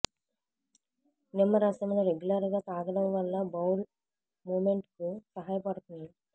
నిమ్మరసంను regular గా తాగడం వల్ల బౌల్ మూమెంట్ కు సహాయపడుతుంది